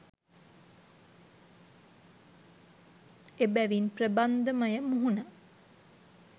එබැවින් ප්‍රබන්ධමය මුහුණ